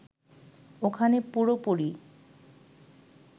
ওখানে পুরোপুরি